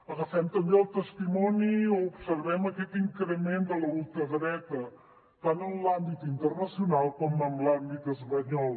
agafem també el testimoni o observem aquest increment de la ultradreta tant en l’àmbit internacional com en l’àmbit espanyol